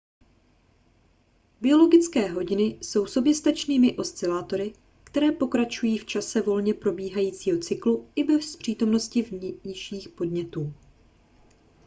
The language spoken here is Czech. biologické hodiny jsou soběstačnými oscilátory které pokračují v čase volně probíhajícího cyklu i bez přítomnosti vnějších podnětů